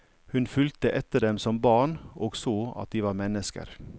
Hun fulgte etter dem som barn og så at de var mennesker.